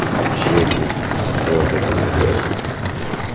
общения твёрдо говорю я